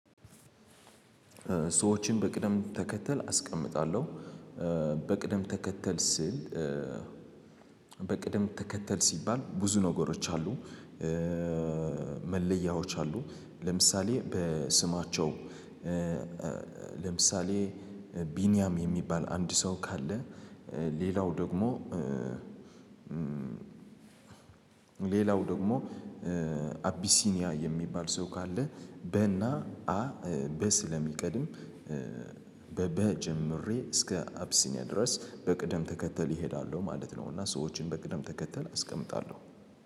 ሰዎችን በቅደም ተከተል አስቀምጣለሁ። በቅደም ተከተል ስል። በቅደም ተከተል ሲባል ብዙ ነገሮች አሉ። መለያዎች አሉ። ለምሳሌ በስማቸው ለምሳሌ ቢኒያም የሚባል አንድ ሰው ካለ። ሌላው ደግሞ ሌላው ደግሞ አቢሲኒያ የሚባል ሰው ካለ። በና አ በስ ለሚቀድም በበ ጀምሬ እስከ አብሲኒያ ድረስ በቅደም ተከተል እሄዳለሁ ማለት ነው። እና ሰዎችን በቅደም ተከተል አስቀምጣለሁ